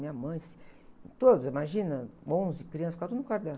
Minha mãe, todos, imagina, onze crianças ficavam no quarto dela.